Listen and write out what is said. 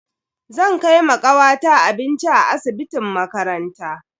Zan kai ma kawata abinci a asibitin makaranta.